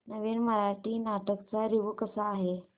नवीन मराठी नाटक चा रिव्यू कसा आहे